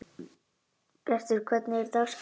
Bjartur, hvernig er dagskráin í dag?